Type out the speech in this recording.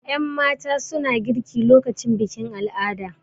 Yanmata suna girki lokacin bikin al'ada